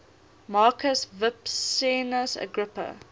marcus vipsanius agrippa